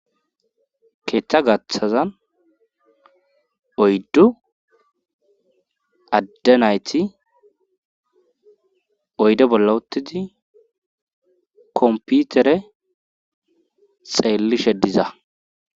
keeththa gaththazan oyddu adde nayti oyde bolla uttidi komputere xeellishe diza